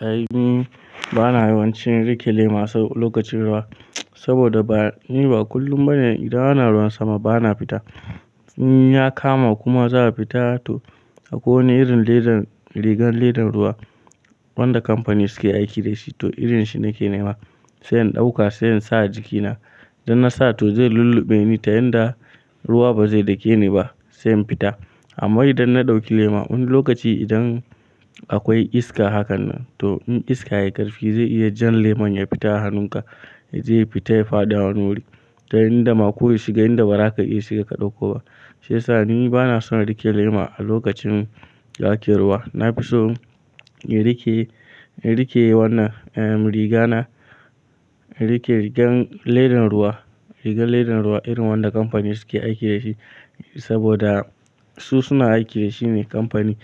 A'a ni bana yawancin rike lema a lokacin ruwa, saboda ba, ni ba kullum bane idan ana ruwan sama bana fita. In ya kama kuma za a fita to akwai wani irin ledar, rigan ledar ruwa wanda kamfani suke aiki dashi to irin shi nake nema sai in ɗauka sai in sa a jikina. Dan na sa to zai lullube ni ta yanda ruwa ba zai dake ni ba sai in fita. Amma idan na ɗauki lema wani lokaci idan akwai iska hakan nan to in iska ya yi ƙarfi zai iya jan lemon ya fita a hannunka, zai fita ya fadi a hannuwan ta yanda ma ko ya shiga, inda baraka ya iya shiga ka ɗauko. Shiyasa ni bana son rike lema a lokacin da ake ruwa. Na fi so in rike, in rike wannan, ehm riga na, in rike rigar ledan ruwa, rigar ledan ruwa irin wanda kamfani suke aiki dashi saboda su suna aiki da shi ne kamfani